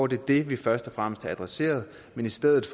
det det vi først og fremmest havde adresseret men i stedet